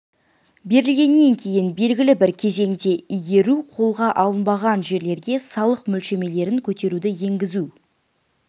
берілгеннен кейін белгілі бір кезеңде игеру қолға алынбаған жерлерге салық мөлшерлемелерін көтеруді енгізу